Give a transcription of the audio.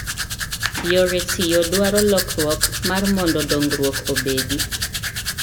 Yore tiyo dwaro lokruok mar mondo dongruok obedi.